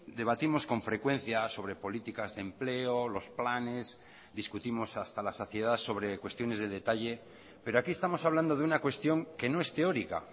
debatimos con frecuencia sobre políticas de empleo los planes discutimos hasta la saciedad sobre cuestiones de detalle pero aquí estamos hablando de una cuestión que no es teórica